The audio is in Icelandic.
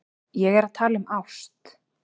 Ég er að tala um ást.